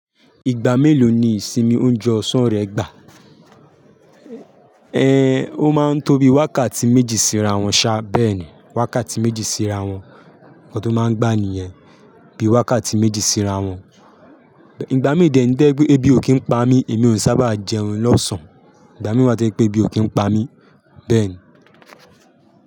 Ìgbà mélòó ni ìsinmi oúnjẹ ọ̀sán rẹ gbà? Ẹ n, ó máa ń tóbi wákàtí méjì síráwọ̀n ṣá bẹ́ẹ̀ni, wákàtí méjì síráwọ̀n. Kan to máa ń gba ni yẹn, bí i wákàtí méjì sìráwọ̀n. Ìgbà mí dẹ̀ ń tẹ́ pe ẹbí ò kí ń pa mí, èmi ò sábà jẹun lọ́sàn-án. Ìgbà mí wá ti se pé ebí ò kí ń pa mí, bẹ́ẹ̀ni.